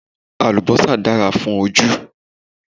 Àlùbọ́sà dára fún ojú